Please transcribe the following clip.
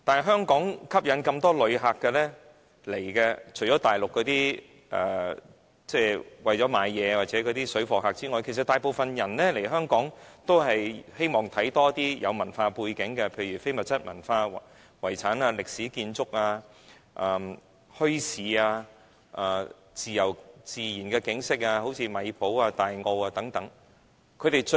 香港能夠吸引旅客來港，除了大陸那些為了購物的旅客及水貨客之外，其他大部分人來港，都希望觀賞一些非物質文化遺產、歷史建築、墟市、自然景色如米埔、大澳等。